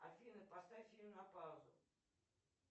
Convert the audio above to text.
афина поставь фильм на паузу